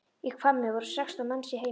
Í Hvammi voru sextán manns í heimili.